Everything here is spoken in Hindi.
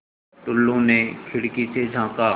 टुल्लु ने खिड़की से झाँका